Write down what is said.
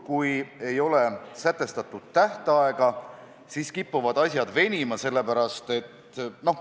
Kui ei ole sätestatud tähtaega, siis kipuvad asjad venima.